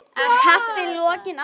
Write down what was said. Kaffi að lokinni athöfn.